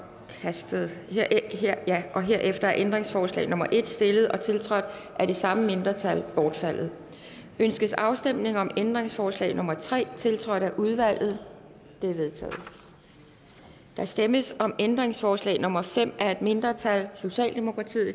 forkastet herefter er ændringsforslag nummer en stillet og tiltrådt af det samme mindretal bortfaldet ønskes afstemning om ændringsforslag nummer tre tiltrådt af udvalget det er vedtaget der stemmes om ændringsforslag nummer fem af et mindretal